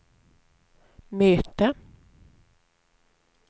möte